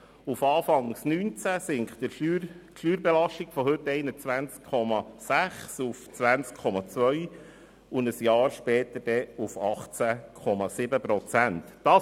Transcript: Per Anfang 2019 wird die Steuerbelastung von heute 21,6 auf 20,2 Prozent und ein Jahr später auf 18,7 Prozent sinken.